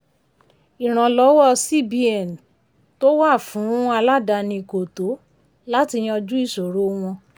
ìrànlọ́wọ́ cbn tó wà fun aládàáni kò tó láti yanju ìṣòro wọn.